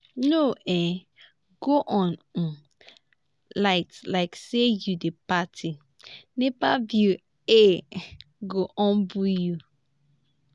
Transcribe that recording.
no um go on um light like say you dey party nepa bill um go humble you.